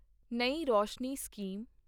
ਨਈ ਰੋਸ਼ਨੀ ਸਕੀਮ